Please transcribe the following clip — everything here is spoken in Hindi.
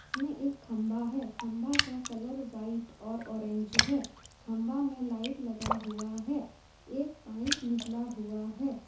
इसमें एक खंभा है खंभा का कलर व्हाइट और ऑरेंज है खंभा में लाइट लगा हुआ है एक पाइप निकला हुआ है।